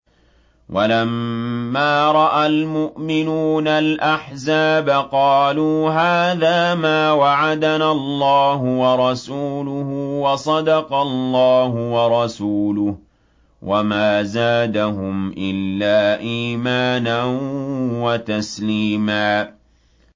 وَلَمَّا رَأَى الْمُؤْمِنُونَ الْأَحْزَابَ قَالُوا هَٰذَا مَا وَعَدَنَا اللَّهُ وَرَسُولُهُ وَصَدَقَ اللَّهُ وَرَسُولُهُ ۚ وَمَا زَادَهُمْ إِلَّا إِيمَانًا وَتَسْلِيمًا